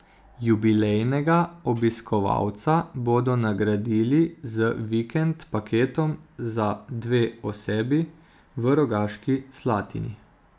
Jubilejnega obiskovalca bodo nagradili z vikend paketom za dve osebi v Rogaški Slatini.